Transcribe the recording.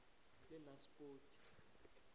lenaspoti